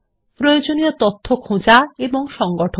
প্রয়োজনীয় তথ্য খোঁজা এবং সংগঠন